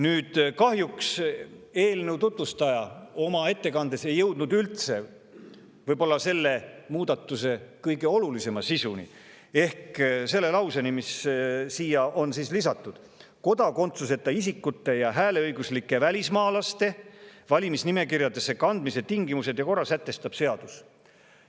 Nüüd, kahjuks ei jõudnud eelnõu tutvustaja oma ettekandes üldse selle lauseni, mis on sinna lisatud ja mis on sisult võib-olla selle muudatuse kõige olulisem: "Kodakondsuseta isikute ja hääleõiguslike välismaalaste valimisnimekirjadesse kandmise tingimused ja korra sätestab seadus.